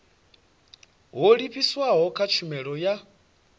ho livhiswaho kha tshumelo ya